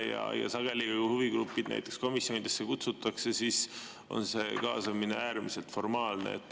Ja sageli on nii, et kui huvigrupid komisjonidesse kutsutakse, siis on see kaasamine äärmiselt formaalne.